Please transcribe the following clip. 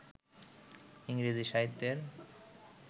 ইংরেজি সাহিত্যের